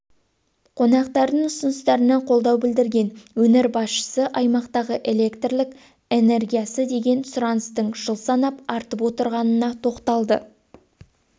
қонақтардың ұсыныстарына қолдау білдірген өңір басшысы аймақтағы электр энергиясына деген сұраныстың жыл санап артып отырғанына тоқталды